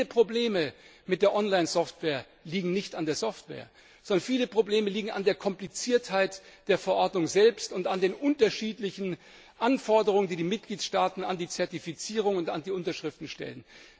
ist. Übrigens Viele Probleme mit der Online Software liegen nicht an der Software, sondern an der Kompliziertheit der Verordnung selbst und an den unterschiedlichen Anforderungen, die die Mitgliedstaaten an die Zertifizierung und an die Unterschriften stellen.